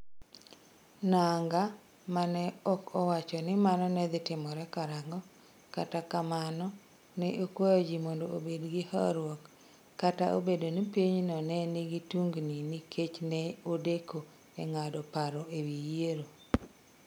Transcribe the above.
Nangaa, ma ne ok owacho ni mano ne dhi timore karang'o. Kata kamano, ne okwayo ji mondo obed gi horuok, kata obedo ni pinyno ne nigi tungni nikech ne odeko e ng'ado paro e wi yiero.